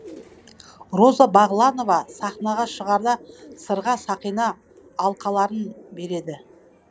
роза бағланова сахнаға шығарда сырға сақина алқаларын береді